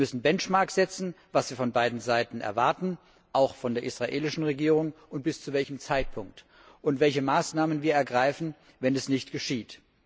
Wir müssen Benchmarks für das setzen, was wir von beiden Seiten erwarten, auch von der israelischen Regierung, und bis zu welchem Zeitpunkt, und welche Maßnahmen wir ergreifen, wenn dies nicht geschieht.